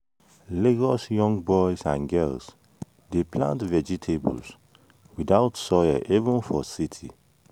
lagos young boys and girls dey plant vegetables without soil even for city.